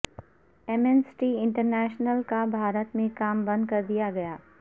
Amnesty International کا بھارت میں کام بند کردیا گیا